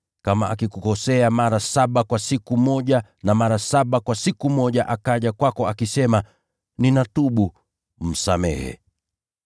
Kama akikukosea mara saba kwa siku moja na mara saba kwa siku moja akaja kwako akisema, ‘Ninatubu,’ msamehe.”